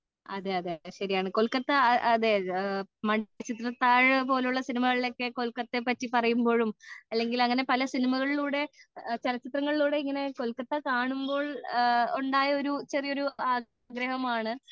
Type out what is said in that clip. അതേ അതേ ശരിയാണ് കൊൽക്കത്ത അതേ മണിച്ചിത്രത്താഴ് പോലുള്ള സിനിമകളിൽ കൊൽക്കത്തയെ പാറ്റി പറയുമ്പോഴും അല്ലെൻകിൽ അങ്ങനെ പല സിനിമകളിൽ കൂടെ ചലച്ചിത്രങ്ങളിലൂടെ ഇങ്ങനെ കൊലകത്തെ കാണുമ്പോൾ ഉണ്ടായ ചെറിയൊരു ആഗ്രഹമാണ്